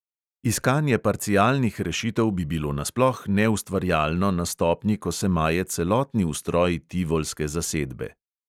Iskanje parcialnih rešitev bi bilo nasploh neustvarjalno na stopnji, ko se maje celotni ustroj tivolske zasedbe.